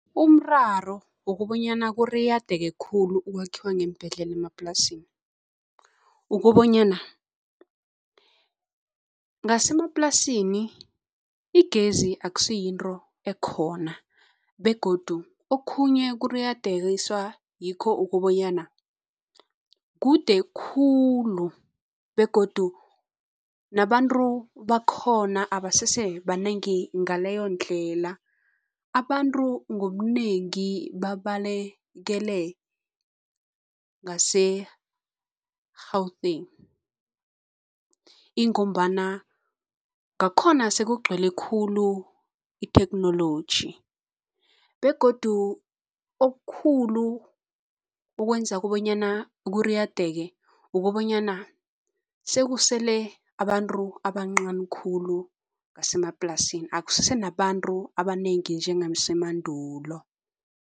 Umraro wokobanyana kuriyadake khulu ukwakhiwa ngeembhedlela emaplasini ukobanyana, ngasemaplasini igezi akusiyinto ekhona begodu okhunye kuriyadekiswa ngikho ukobanyana kude khulu begodu nabantu bakhona abasesebanengi ngaleyondlela. Abantu ngobunengi babalekele ngase-Gauteng, ingombana ngakhona sekugcwele khulu itheknoloji begodu okukhulu ukwenza kobanyana kuriyadeke ukobanyana sekusele abantu abancani khulu basemaplasini, akusesenabantu abanengi njengasemandulo.